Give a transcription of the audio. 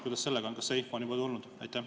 Kuidas sellega on, kas see info on juba tulnud?